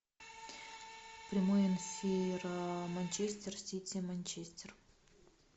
прямой эфир манчестер сити манчестер